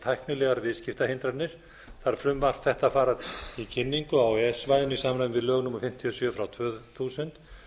tæknilegar viðskiptahindranir þarf frumvarp þetta að fara í kynningu á e e s svæðinu í samræmi við lög númer fimmtíu og sjö tvö þúsund